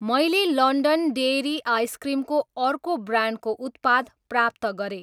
मैले London dairy ice cream को अर्को ब्रान्डको उत्पाद प्राप्त गरेँ।